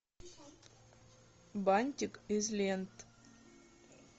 бантик из лент